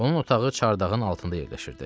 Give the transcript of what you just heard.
Onun otağı çardağın altında yerləşirdi.